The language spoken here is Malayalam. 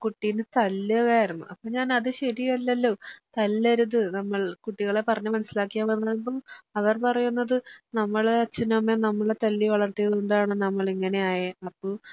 കുട്ടീനെ തല്ലുകയായിരുന്നു അപ്പോൾ ഞാൻ അത് ശരിയല്ലല്ലോ തല്ലരുത് നമ്മൾ കുട്ടികളെ പറഞ്ഞ് മനസ്സിലാക്കിയൽ മതീന്ന് പറഞ്ഞപ്പോ അവർ പറയുന്നത് നമ്മളെ അച്ഛനുമമ്മയും നമ്മളെ തല്ലി വളർത്തിയത് കൊണ്ടാണ് നമ്മളിങ്ങനെ ആയേ അപ്പൊ